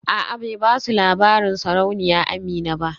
A'a bai basu labarin sarauniya Amina ba